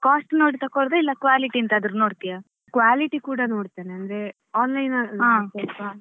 Cost ನೋಡಿ ತಗೊಳ್ಳುದ ಇಲ್ಲ quality ಎಂತಾದ್ರೂ ನೋಡ್ತೀಯಾ.